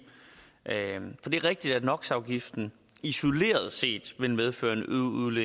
er rigtigt at nox afgiften isoleret set vil medføre